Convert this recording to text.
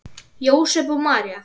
Jósep og María